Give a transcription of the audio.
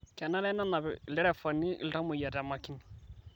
Kenare nenap lderefani ltamoyia te makini